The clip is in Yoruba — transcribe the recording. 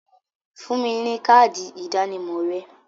Fún mi ní káádì ìdánimọ̀ rẹ!